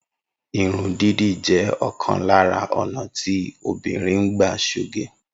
Irun dídì jẹ́ ọ̀kan lára ọ́ná ti obìnrin ń gbà ṣoge.